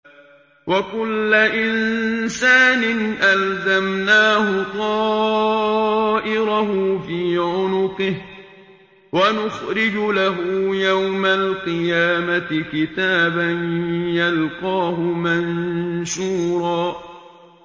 وَكُلَّ إِنسَانٍ أَلْزَمْنَاهُ طَائِرَهُ فِي عُنُقِهِ ۖ وَنُخْرِجُ لَهُ يَوْمَ الْقِيَامَةِ كِتَابًا يَلْقَاهُ مَنشُورًا